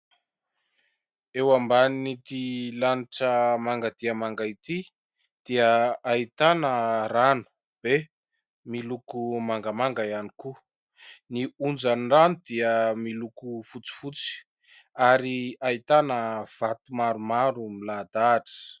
Eo ambanin'ity lanitra manga dia manga ity dia ahitana rano be miloko mangamanga ihany koa. Ny onjan'ny rano dia miloko fotsifotsy ary ahitana vato maromaro milahadahatra.